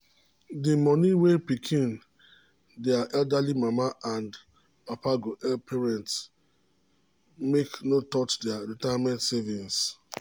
d money wey pikin dia elderly mama and papa go help parents make no touch their retirement saving